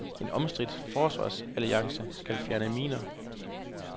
En omstridt forsvarsalliance skal fjerne miner.